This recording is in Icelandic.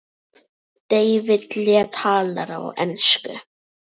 David Lee talar á ensku.